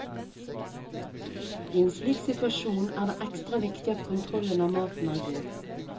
I en slik situasjon er det ekstra viktig at kontrollen av maten er god.